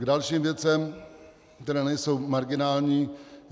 K dalším věcem, které nejsou marginální.